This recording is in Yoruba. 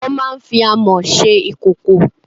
Wọ́n máa ń fi Amọ́ ṣe ìkòkò.